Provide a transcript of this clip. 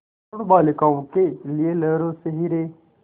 वरूण बालिकाओं के लिए लहरों से हीरे